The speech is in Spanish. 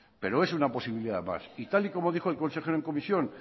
pero es una posibilidad más y tal y como dijo el consejero en comisión